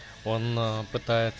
он но